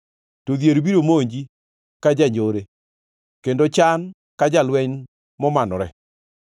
to dhier biro monji ka janjore kendo chan ka jalweny momanore.